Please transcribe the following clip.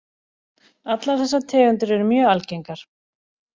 Allar þessar tegundir eru mjög algengar.